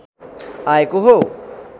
आएको हो